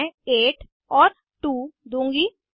मैं 8 और 2 दूंगी